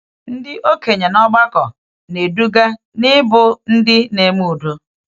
Ndị okenye n’ọgbakọ na-eduga n’ịbụ ndị na-eme udo.